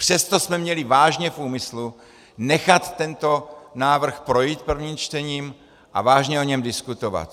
Přesto jsme měli vážně v úmyslu nechat tento návrh projít prvním čtením a vážně o něm diskutovat.